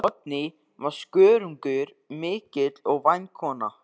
Oddný var skörungur mikill og væn kona.